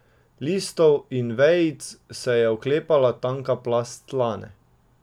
Listov in vejic se je oklepala tanka plast slane.